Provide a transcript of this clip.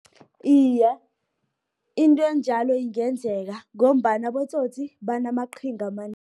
Iye, into enjalo ingenzeka, ngombana abotsotsi, banamaqhinga